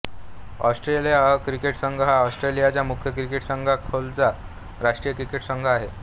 Australia अ cricket संघ हा ऑस्ट्रेलियाच्या मुख्य क्रिकेट संघाखालोखालचा राष्ट्रीय क्रिकेट संघ आहे